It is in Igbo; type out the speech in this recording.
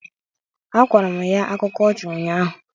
Akọrọ m ya akụkọ ọchị ụnyaahụ